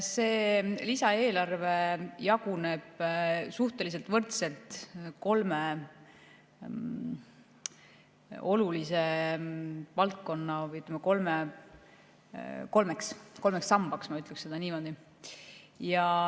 See lisaeelarve jaguneb suhteliselt võrdselt kolme olulise valdkonna vahel või jaguneb kolmeks sambaks, ma ütleksin niimoodi.